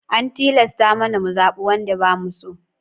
An tilasta mana mu zaɓe wanda ba mu so.